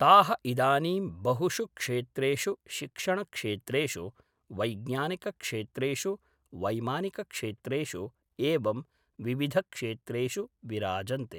ताः इदानीं बहुषु क्षेत्रेषु शिक्षणक्षेत्रेषु वैज्ञानिकक्षेत्रेषु वैमानिकक्षेत्रेषु एवं विविधक्षेत्रेषु विराजन्ते